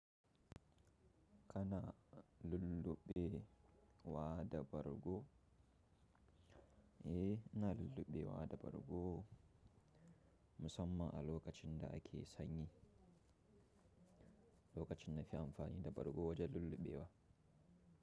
Kana lulluɓe wa da bargo? Eh, ina lulluɓe wa da bargo. Musamman a lokacin da ake sanyi, lokacin nafi amfani da bargo wajen lulluɓe wa.